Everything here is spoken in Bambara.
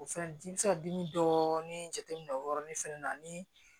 O fɛnɛ di i bi se ka dimi dɔɔnin jateminɛ o yɔrɔnin fɛnɛ na ni